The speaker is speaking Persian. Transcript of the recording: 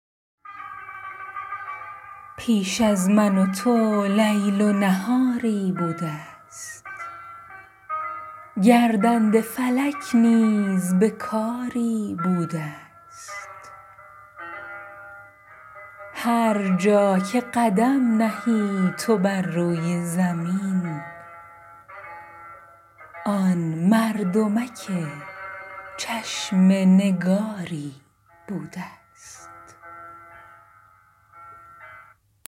پیش از من و تو لیل و نهاری بوده ست گردنده فلک نیز به کاری بوده است هر جا که قدم نهی تو بر روی زمین آن مردمک چشم نگاری بوده ست